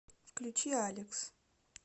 включи алекс